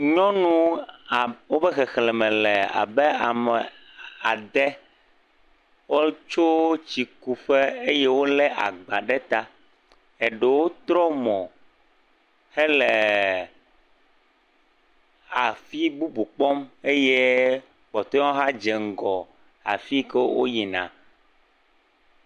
Nyɔnu abe woƒe xexlẽme le abe ade, wotsɔ tsikuƒe eye wolé agbawo ɖe ta, eɖewo trɔ mo hele afi bubu kpɔm eye kpɔtɔeawo dze ŋgɔ yina afi si woyina.